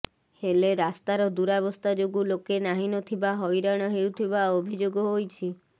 ହେଲେ ରାସ୍ତାର ଦୂରାବସ୍ଥା ଯୋଗୁଁ ଲୋକେ ନାହିଁ ନଥିବା ହଇରାଣ ହେଉଥିବା ଅଭିଯୋଗ ହୋଇଛି